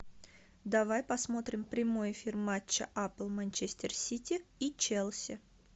давай посмотрим прямой эфир матча апл манчестер сити и челси